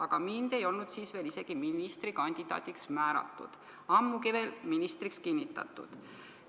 Aga mind ei olnud siis veel isegi ministrikandidaadiks määratud, ammugi ministriks kinnitatud.